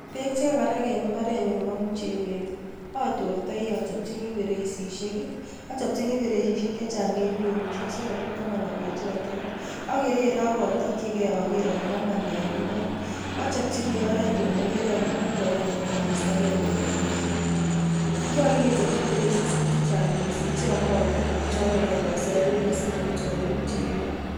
Beek chekakerak eng imbaarenyun nebo muchelek atortai achopchini feresisiek, achopchini feresisiek chechang eng kwenut sikopit komanda beechechoten, akererei akotakchke ageer ale kamanda eng imbaar, achopchini imbaaret nan ageere ale mandoen atko kestakei beek eng imbaar. Nyolu kechop feresisiek chechang mising chyomotin ak cheyamekei koser beek simawechawech muchelek.